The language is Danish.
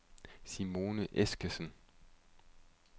Simone Eskesen